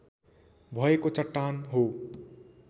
भएको चट्टान हो।